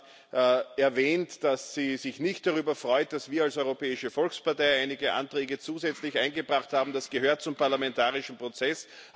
Sie hat erwähnt, dass sie sich nicht darüber freut, dass wir als Europäische Volkspartei einige Anträge zusätzlich eingebracht haben das gehört zum parlamentarischen Prozess.